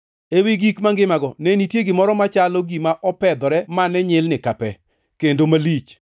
Ewi gik mangimago ne nitie gimoro machalo gima opedhore mane nyilni ka pe, kendo malich.